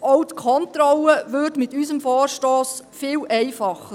Auch würde die Kontrolle mit unserem Vorstoss viel einfacher.